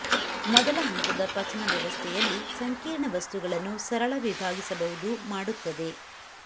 ಮೊದಲ ಹಂತದ ಪಚನ ವ್ಯವಸ್ಥೆಯಲ್ಲಿ ಸಂಕೀರ್ಣ ವಸ್ತುಗಳನ್ನು ಸರಳ ವಿಭಾಗಿಸಬಹುದು ಮಾಡುತ್ತದೆ